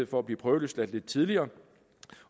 for at blive prøveløsladt lidt tidligere